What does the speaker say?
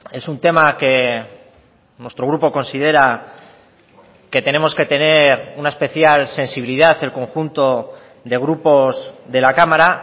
es un tema que nuestro grupo considera que tenemos que tener una especial sensibilidad el conjunto de grupos de la cámara